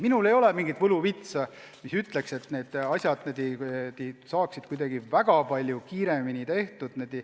Minul ei ole mingit võluvitsa, mille abil saaks need asjad kuidagi väga palju kiiremini tehtud.